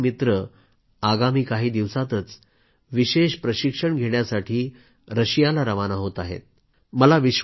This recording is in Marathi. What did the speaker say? आमचे चारही मित्र आगामी काही दिवसातच विशेष प्रशिक्षण घेण्यासाठी रशियाला रवाना होत आहेत